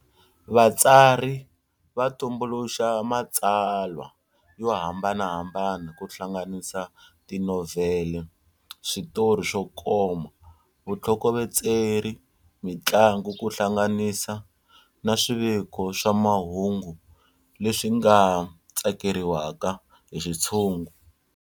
Vatsari va tumbuluxa matsalwa yo hambanahambana kuhlanganisa tinovhele, switori swokoma, vuthlokovetseri, mintlangu kuhlanganisa na swiviko swa mahungu leswi nga tsakeriwaka hi xitshungu.